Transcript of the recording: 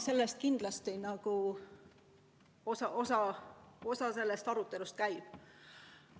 Selle üle arutelu käib.